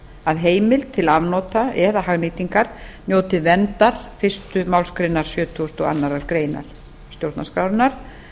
að heimild til afnota eða hagnýtingar njóti verndar fyrstu málsgrein sjötugustu og aðra grein stjórnarskrárinnar